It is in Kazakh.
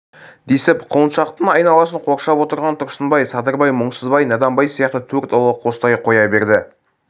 десіп құлыншақтың айналасын қоршап отырған тұрсынбай садырбай мұңсызбай наданбай сияқты төрт ұлы қостай қоя берді